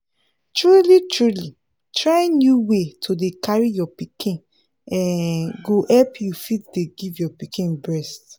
truly truly trying new way to dey carry your pikin um go help you fit dey give your pikin breast